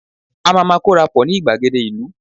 a ma ma korapo ni igbagede ìlú